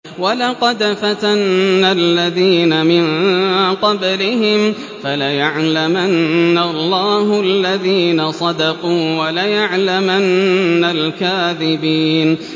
وَلَقَدْ فَتَنَّا الَّذِينَ مِن قَبْلِهِمْ ۖ فَلَيَعْلَمَنَّ اللَّهُ الَّذِينَ صَدَقُوا وَلَيَعْلَمَنَّ الْكَاذِبِينَ